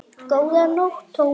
Góða nótt, Thomas